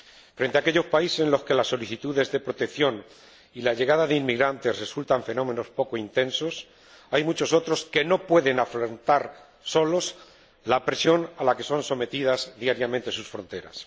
Frente a aquellos países en los que las solicitudes de protección y la llegada de inmigrantes resultan fenómenos poco intensos hay muchos otros que no pueden afrontar solos la presión a la que son sometidas diariamente sus fronteras.